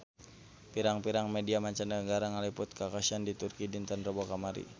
Pirang-pirang media mancanagara ngaliput kakhasan di Turki dinten Rebo kamari